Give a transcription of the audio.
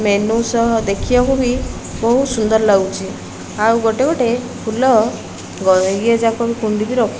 menu ସହ ଦେଖିବାକୁ ବି ବହୁତ ସୁନ୍ଦର ଲାଗୁଛି ଆଉ ଗୋଟେ ଗୋଟେ ଫୁଲ ଗ ଇଏ ଯାକ ବି କୁଣ୍ଡ ବି ରଖି --